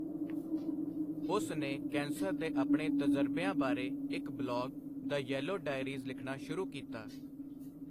ਉਸ ਨੇ ਕੈਂਸਰ ਦੇ ਆਪਣੇ ਤਜਰਬਿਆਂ ਬਾਰੇ ਇੱਕ ਬਲੌਗ 'ਦ ਯੈਲੋ ਡਾਇਰੀਜ਼' ਲਿਖਣਾ ਸ਼ੁਰੂ ਕੀਤਾ।